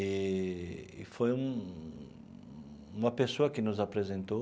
E foi um uma pessoa que nos apresentou.